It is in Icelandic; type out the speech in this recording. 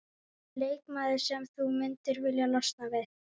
Leikmaður sem þú myndir vilja losna við?